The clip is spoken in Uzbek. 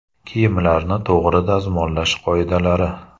Kiyimlarni to‘g‘ri dazmollash qoidalari.